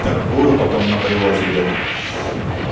торгую потом на привозе где-то